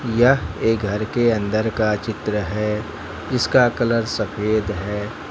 यह घर के अंदर का चित्र है जिसका कलर सफेद है।